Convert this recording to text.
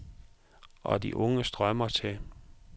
Og de unge strømmer til.